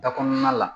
Da kɔnɔna la